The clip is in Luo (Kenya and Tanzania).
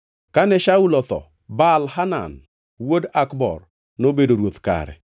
Kane Shaul otho, Baal-Hanan wuod Akbor nobedo ruoth kare.